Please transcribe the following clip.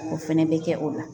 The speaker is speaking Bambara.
O fɛnɛ bɛ kɛ o la